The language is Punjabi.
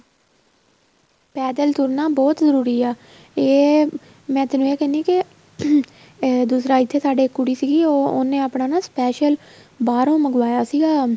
ਪੈਦਲ ਤੁਰਨਾ ਬਹੁਤ ਜਰੂਰੀ ਆ ਇਹ ਮੈਂ ਤੈਨੂੰ ਇਹ ਕਹਿਣੀ ਏ ਕੇ ਦੂਸਰਾ ਇੱਥੇ ਸਾਡੀ ਕੁੜੀ ਸੀਗੀ ਉਹ ਉਹਨੇ ਆਪਣਾ special ਬਾਹਰੋ ਮਗਵਾਇਆ ਸੀਗਾ